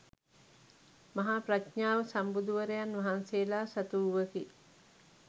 මහා ප්‍රඥාව සම්බුදුවරයන් වහන්සේලා සතුවූවකි.